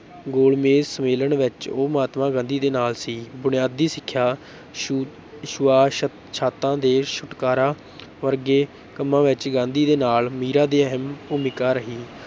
ਗੋਲਮੇਜ ਸਮੇਲਨ ਵਿੱਚ ਉਹ ਮਹਾਤਮਾ ਗਾਂਧੀ ਦੇ ਨਾਲ ਸੀ, ਬੁਨਿਆਦੀ ਸਿੱਖਿਆ, ਛੂ ਛੂਆਛਾਤਾਂ ਦੇ ਛੁਟਕਾਰਾ ਵਰਗੇ ਕੰਮਾਂ ਵਿੱਚ ਗਾਂਧੀ ਦੇ ਨਾਲ ਮੀਰਾ ਦੀ ਅਹਿਮ ਭੂਮਿਕਾ ਰਹੀ।